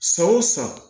San o san